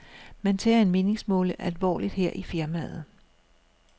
Man tager en meningsmåling alvorligt her i firmaet.